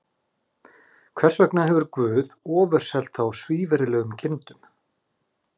Þess vegna hefur Guð ofurselt þá svívirðilegum girndum.